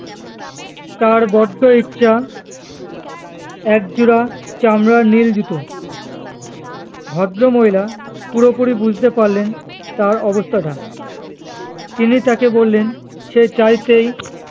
তার বড্ড ইচ্ছা একজোড়া চামড়ার নীল জুতো ভদ্রমহিলা পুরোপুরি বুঝতে পারলেন তার অবস্থা টা তিনি তাকে বললেন সে চাইতেই